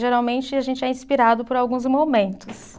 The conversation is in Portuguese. Geralmente a gente é inspirado por alguns momentos.